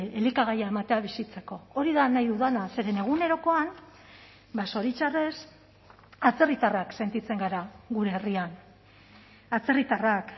elikagaia ematea bizitzeko hori da nahi dudana zeren egunerokoan zoritxarrez atzerritarrak sentitzen gara gure herrian atzerritarrak